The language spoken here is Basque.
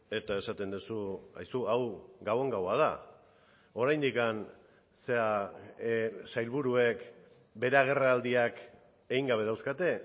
eta esaten duzu aizu hau gabon gaua da oraindik sailburuek bere agerraldiak egin gabe dauzkate